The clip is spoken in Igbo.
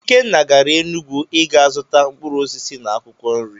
Ikenna gara Enugwu i ga zụta mkpụrụ osisi na akwụkwọ nri.